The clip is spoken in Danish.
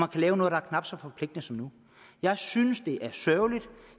kan lave noget der er knap så forpligtende som nu jeg synes at det er sørgeligt